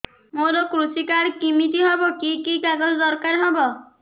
ମୋର କୃଷି କାର୍ଡ କିମିତି ହବ କି କି କାଗଜ ଦରକାର ହବ